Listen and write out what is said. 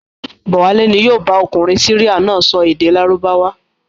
Bọ̀wálé ni yóò bá ọkùnrin Syria náà sọ èdè Lárúbáwá.